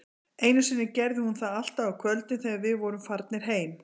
Einu sinni gerði hún það alltaf á kvöldin, þegar við vorum farnir heim